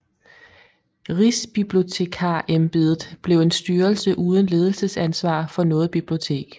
Rigsbibliotekarembedet blev en styrelse uden ledelsesansvar for noget bibliotek